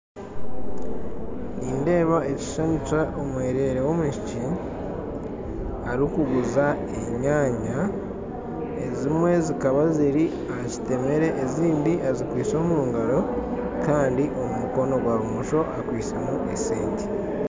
Nindeeba ekishushani ky'omwerere w'omwishiki arikuguza enyaanya, ezimwe zikaba ziri aha kitemere ezindi azikwaise omu ngaro kandi omu mukono gwa bumosho akwaisemu esente.